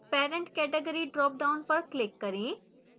parent category dropdown पर click करें